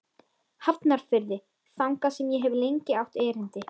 Hafnarfirði, þangað sem ég hef lengi átt erindi.